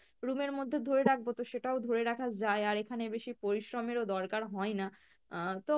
room এর মধ্যে ধরে রাখবো তো সেটাও ধরে রাখা যায় আর এখানে বেশি পরিশ্রম এর ও দরকার হয়না, আহ তো